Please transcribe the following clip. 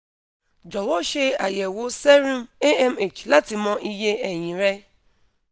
jọwọ ṣe ayẹwo serum amh lati mọ iye ẹyin rẹ